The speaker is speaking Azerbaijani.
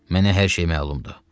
Mənə hər şey məlumdur.